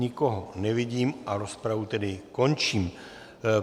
Nikoho nevidím a rozpravu tedy končím.